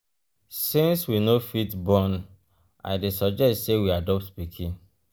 since we no fit born i um dey suggest say we adopt pikin.